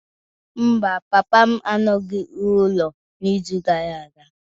Mba, papa m anọghị n'ụlọ n'izu gara aga.